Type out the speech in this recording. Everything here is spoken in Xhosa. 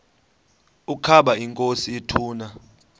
ukaba inkosi ituna